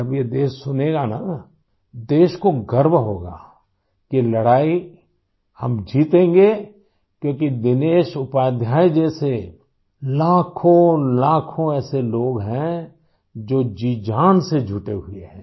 जब ये देश सुनेगा न देश को गर्व होगा कि लड़ाई हम जीतेंगे क्योंकि दिनेश उपाध्याय जैसे लाखोंलाखों ऐसे लोग हैं जो जीजान से जुटे हुए हैं